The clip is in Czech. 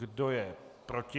Kdo je proti?